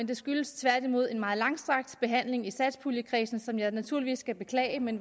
det skyldtes tværtimod en meget langstrakt behandling i satspuljekredsen som jeg naturligvis skal beklage men